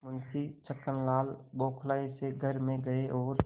मुंशी छक्कनलाल बौखलाये से घर में गये और